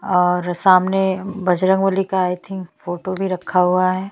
सजावट अअ रैक रखने का तरीका बहोत ही अच्छा है।